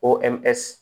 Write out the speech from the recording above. Ko